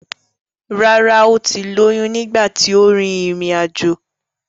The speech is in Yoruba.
Rárá ó ti lóyún nígbà tí ó rin ìrìn àjò.